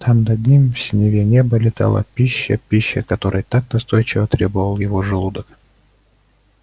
там над ним в синеве неба летала пища пища которой так настойчиво требовал его желудок